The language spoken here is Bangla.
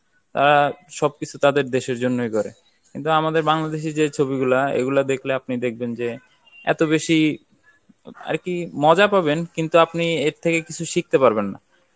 অ্যা সবকিছু তাদের দেশের জন্যই করে কিন্তু আমাদের বাংলাদেশী যে ছবিগুলা, এগুলা দেখলে আপনি দেখবেন যে এত বেশি আর কি মজা পাবেন কিন্তু আপনি এর থেকে কিছু শিখতে পারবেন না.